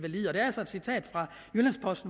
også